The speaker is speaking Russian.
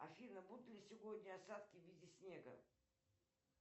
афина будут ли сегодня осадки в виде снега